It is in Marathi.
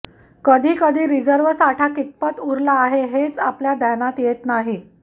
कधी कधी रिझर्व्ह साठा कितपत उरला आहे हेच आपल्या ध्यानात येत नाही